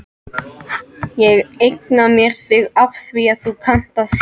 Ég eigna mér þig afþvíað þú kannt að hlusta.